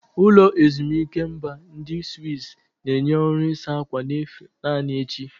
Ụlọ ezimuike mba ndi Swizz na-enye ọrụ ịsa ákwà n'efu naanị echi.